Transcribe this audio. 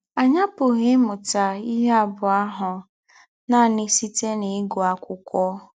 Anyị apụghị ịmụta ihe abụọ ahụ nanị site n’ịgụ akwụkwọ.